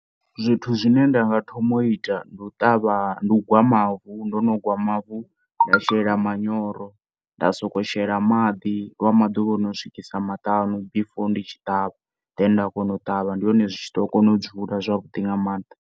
Zwithu zwine ndanga thoma u ita ndi u ṱavha ndi u gwa mavu ndo no gwa mavu nda shela manyoro nda sokou shela maḓi lwa maḓuvha ono swikisa maṱanu before ndi tshi ṱavha then nda kona u ṱavha ndi hone zwi ḓo kona u dzula nga mannḓa.